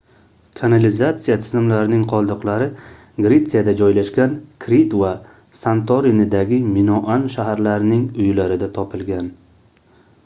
kanalizatsiya tizimlarining qoldiqlari gretsiyada joylashgan krit va santorinidagi minoan shaharlarining uylarida topilgan